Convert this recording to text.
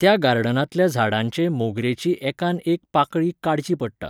त्या गार्डनांतल्या झाडांचे मोगरेची एकान एक पाकळी काडची पडटा.